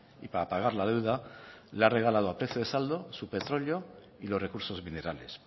y para pagar la deuda le ha regalado a precio de saldo su petróleo y los recursos minerales